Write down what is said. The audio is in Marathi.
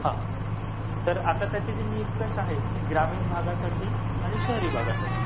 हां. तर आता त्याचे जे निकष आहेत, ग्रामीण भागासाठी आणि शहर भागासाठी